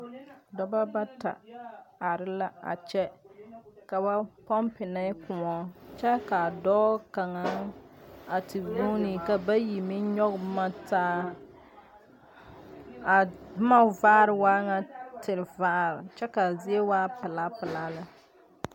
Doba bata are la a kyɛ. Ka ba pompinɛ koɔ kyɛ ka doɔ kanga a te goɔne. Ka bayi meŋ yoɔge mantaa. A boma vaare waa ŋa tevaar kyɛ ka zie waa pula pula le.